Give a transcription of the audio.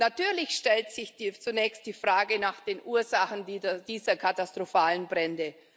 Natürlich stellt sich zunächst die Frage nach den Ursachen dieser katastrophalen Brände.